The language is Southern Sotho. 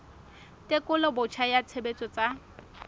tekolo botjha ya tshebetso tsa